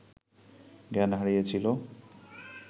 জ্ঞান হারিয়েছিল